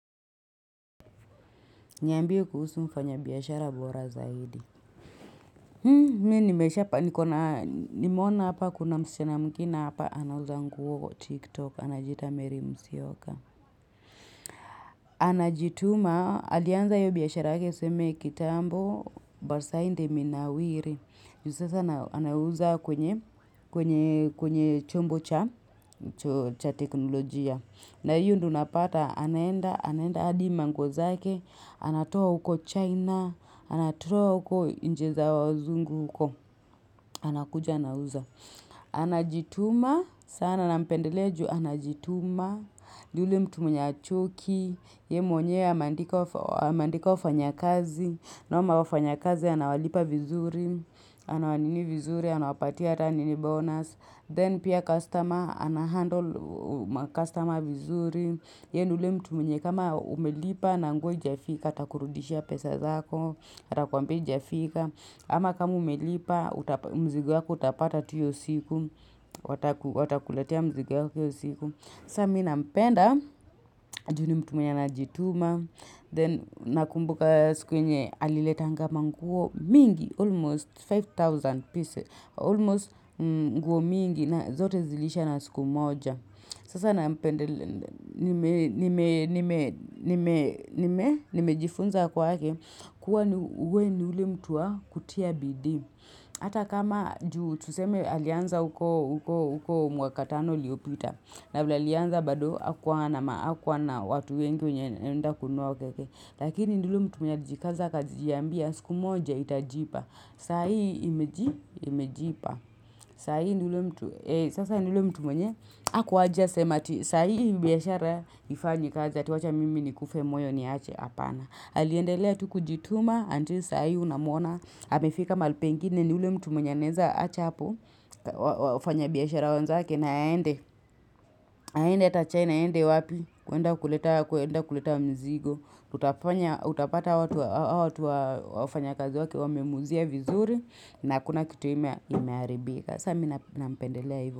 Niambie kuhusu mfanya biashara bora zaidi. Mi nimesha pa nikona nimeona hapa kuna msichana mwingine hapa anauza nguo tik tok anajiita mary mosyoka. Anajituma, alianza hiyo biashara yake tuseme kitambo, but sahii ndio imenawiri. Ju sasa anauza kwenye chombo cha teknolojia. Na hiyo ndio unapata, anaenda, anaenda hadi manguo zake, anatoa huko China, anatoa huko nchi za wazungu huko. Anakuja, anauza. Anajituma, sana nampendelea ju, anajituma. Ni ule mtu mwenye hachoki ye mwenye ameandika wafanya kazi na wafanya kazi anawalipa vizuri anawalipa vizuri anawapatia hata nini bonus then pia customer anahandle macustomer vizuri ye ni ule mtu mwenye kama umelipa na nguo haijafika atakurudishia pesa zako atakwambia haijafika ama kama umelipa mzigo yako utapata tu hiyo siku watakuletea mzigo yako Sasa mi nampenda, ju nimtu mwenye anajituma, then nakumbuka siku yenye aliletanga manguo mingi, almost 5,000 pieces, almost nguo mingi na zote zilisha na siku moja. Sasa na mpende, nimejifunza kwake uwe ni ule mtuvwa kutia bidii. Hata kama juu, tuseme alianza huko mwakatano uliopita. Na vilale alianza bado, hakuwa na ma hakuwa na watu wengi wenye wanaenda kununua ukeke. Lakini ni ule mtu mwenye alijikaza kazi akajiambia, siku moja itajipa. Sa hii imeji, imejipa. Sasa ni ule mtu mwenye, hakuwajia sema ati, sasa hii biashara haifanyi kazi, ati wacha mimi nikufe moyo niache hapana. Aliendelea tukujituma until sahii unamuona, amefika mahali pengine ni ule mtu mwenye anaweza acha hapo, wafanya biashara wenzake na aende, aende ata chaina aende wapi, kuenda kuleta mzigo, utapata watu wafanya kazi wake, wame muuzia vizuri, na hakuna kitu imeharibika. Samina minampendelea hivo.